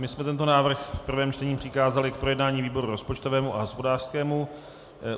My jsme tento návrh v prvém čtení přikázali k projednání výboru rozpočtovému a hospodářskému.